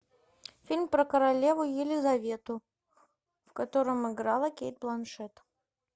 фильм про королеву елизавету в котором играла кейт бланшетт